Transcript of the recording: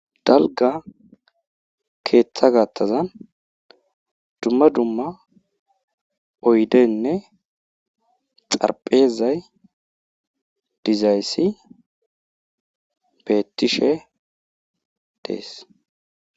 Dalgga keetha gaathazan dumma dumma oydenne xarphezay dizayssi beettishe des.